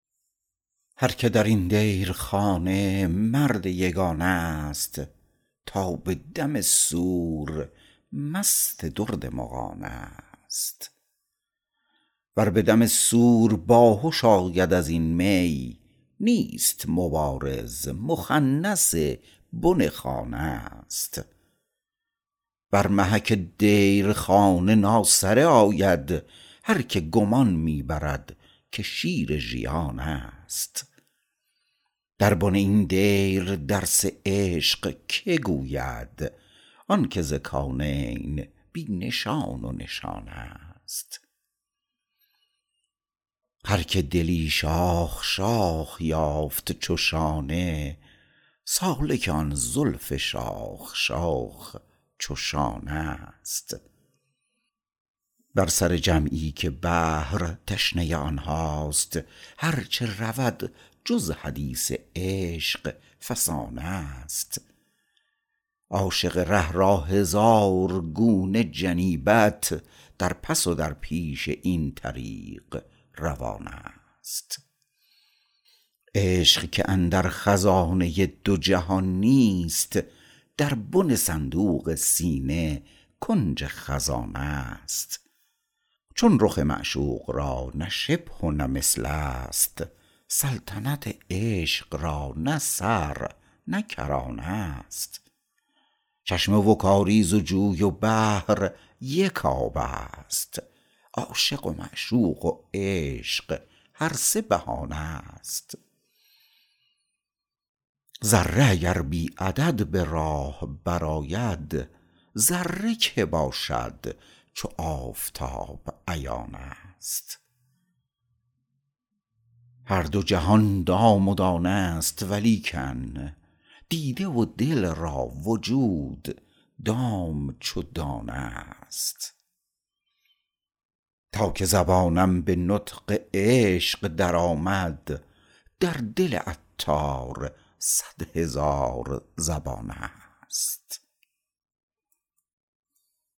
هر که درین دیرخانه مرد یگانه است تا به دم صور مست درد مغانه است ور به دم صور باهش آید ازین می نیست مبارز مخنث بن خانه است بر محک دیرخانه ناسره آید هر که گمان می برد که شیر ژیان است در بن این دیر درس عشق که گوید آنکه ز کونین بی نشان و نشانه است هر که دلی شاخ شاخ یافت چو شانه سالک آن زلف شاخ شاخ چو شانه است بر سر جمعی که بحر تشنه آنهاست هرچه رود جز حدیث عشق فسانه است عاشق ره را هزار گونه جنیبت در پس و در پیش این طریق روانه است عشق که اندر خزانه دو جهان نیست در بن صندوق سینه کنج خزانه است چون رخ معشوق را نه شبه و نه مثل است سلطنت عشق را نه سر نه کرانه است چشمه و کاریز و جوی و بحر یک آب است عاشق و معشوق و عشق هر سه بهانه است ذره اگر بی عدد به راه برآید ذره که باشد چو آفتاب عیان است هر دو جهان دام و دانه است ولیکن دیده و دل را وجود دام چو دانه است تا که زبانم به نطق عشق درآمد در دل عطار صد هزار زبانه است